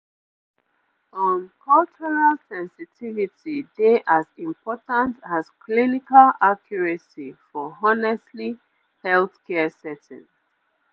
um cultural sensitivity dey as important as clinical accuracy for honestly healthcare settings